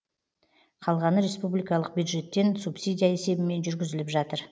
қалғаны республикалық бюджеттен субсидия есебімен жүргізіліп жатыр